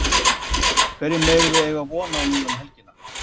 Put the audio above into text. Hverju megum við eiga von á núna um helgina?